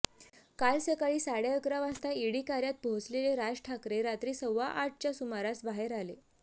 काल सकाळी साडेअकरा वाजता ईडी कार्यात पोहोचलेले राज ठाकरे रात्री सव्वाआठच्या सुमारास बाहेर आले